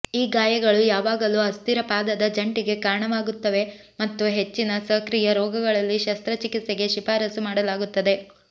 ಈ ಗಾಯಗಳು ಯಾವಾಗಲೂ ಅಸ್ಥಿರ ಪಾದದ ಜಂಟಿಗೆ ಕಾರಣವಾಗುತ್ತವೆ ಮತ್ತು ಹೆಚ್ಚಿನ ಸಕ್ರಿಯ ರೋಗಿಗಳಲ್ಲಿ ಶಸ್ತ್ರಚಿಕಿತ್ಸೆಗೆ ಶಿಫಾರಸು ಮಾಡಲಾಗುತ್ತದೆ